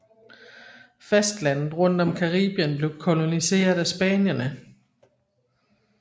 Fastlandet rundt om Caribien blev koloniseret af spanierne